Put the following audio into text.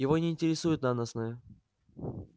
его не интересует наносное